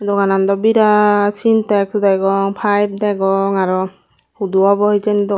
doganan dow birat sintex dagong pipe degong arow hudu obow hejeni